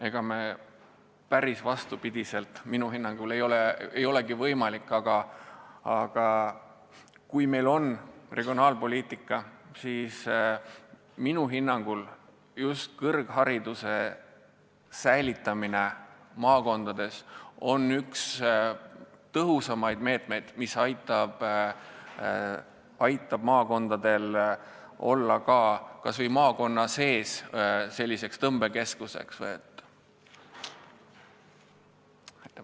Ega päris vastupidi minna ei olegi võimalik, aga kui meil on regionaalpoliitika, siis minu hinnangul on kõrghariduse säilitamine maakondades üks tõhusamaid meetmeid, mis aitab maakonnalinnadel tõmbekeskusteks jääda.